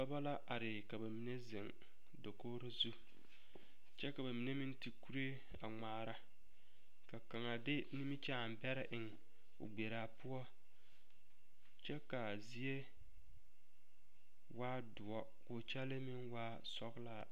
Dɔbɔ la are ka ba mine zeŋ dakogri zu kyɛ ka ba mine meŋ ti kuree a ŋmaara ka kaŋa de nimikyaani bɛrɛ eŋ o gbrlaa poɔ kyɛ ka a zie waa doɔ k'o kyɛlee meŋ waa sɔglaa.